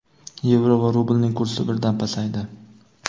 yevro va rublning kursi birdan pasaydi.